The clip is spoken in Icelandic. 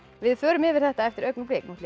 við förum yfir þetta eftir augnablik nú ætla